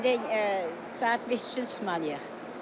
İndi saat 5 üçün çıxmalıyıq.